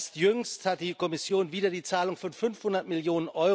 Erst jüngst hat die Kommission wieder die Zahlung von 500 Mio.